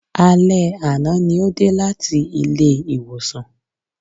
Alé àná ní ó dé láti ilé ìwòsàn